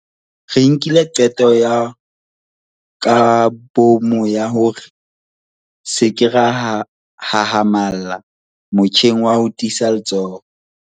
Re nkile qeto ya kabomo ya hore re se ke ra hahamalla motjheng wa ho tiisa letsoho.